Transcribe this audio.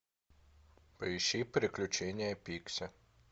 поищи приключения пикси